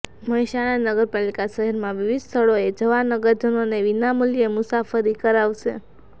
મહેસાણા નગરપાલિકા શહેરમાં વિવિધ સ્થળોએ જવા નગરજનોને વિનામૂલ્યે મુસાફરી કરાવશે